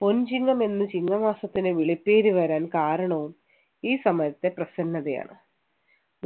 പൊൻചിങ്ങം എന്ന് ചിങ്ങം മാസത്തിന് വിളിപ്പേര് വരാൻ കാരണവും ഈ സമയത്തെ പ്രസന്നതയാണ്